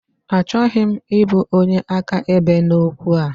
Achọghị m ịbụ onye akaebe n'okwu a.